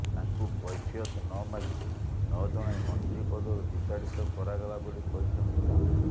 ତାଙ୍କୁ କୈଫିୟତ ନମାଗି ନଜଣାଇ ମନ୍ତ୍ରୀ ପଦରୁ ବିତାଡିତ କରାଗଲା ବୋଲି କହିଛନ୍ତି ଦାମ